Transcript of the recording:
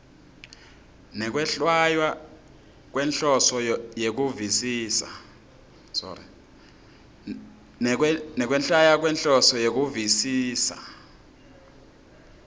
nekwehlwaya ngenhloso yekuvisisa